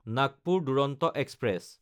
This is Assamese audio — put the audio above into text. নাগপুৰ দুৰন্ত এক্সপ্ৰেছ